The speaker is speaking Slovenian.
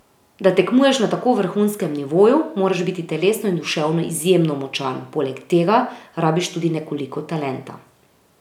Da tekmuješ na tako vrhunskem nivoju, moraš biti telesno in duševno izjemno močan, poleg tega rabiš tudi nekoliko talenta.